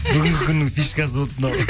бүгінгі күннің фишкасы болды мынау